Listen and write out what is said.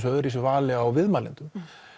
öðruvísi vali á viðmælendum